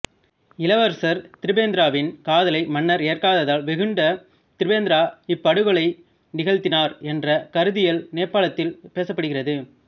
இளவரசர் திபெந்திராவின் காதலை மன்னர் ஏற்காததால் வெகுண்ட திபெந்திரா இப்படுகொலை நிகழ்த்தினார் என்ற கருத்தியல் நேபாளத்தில் பேசப்படுகிறது